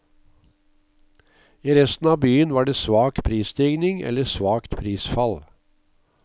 I resten av byen var det svak prisstigning eller svakt prisfall.